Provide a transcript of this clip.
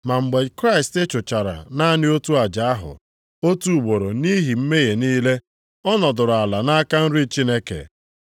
Ma mgbe Kraịst chụchara naanị otu aja ahụ, otu ugboro nʼihi mmehie niile, ọ nọdụrụ ala nʼaka nri Chineke.